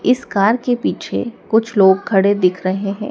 इस कार के पीछे कुछ लोग खड़े दिख रहे हैं।